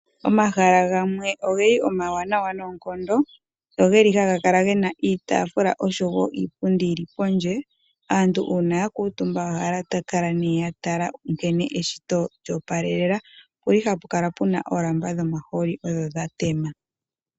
Omahala gamwe ogeli omawanawa noonkondo ngono geli haga kala ge na iitafula oshowo iipundi yili pondje aantu uuna ya kuutumba ohaya kala ne ya tala nkene eshito lyoopalelela opuli ha pu kala pu na oolamba dhomahooli odho dha tema.